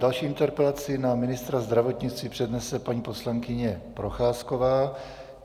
Další interpelaci na ministra zdravotnictví přednese paní poslankyně Procházková.